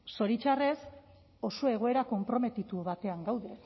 zoritxarrez oso egoera konprometitu batean gaude